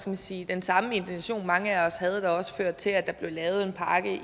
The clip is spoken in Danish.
man sige den samme intention mange af os havde der også førte til at der blev lavet en pakke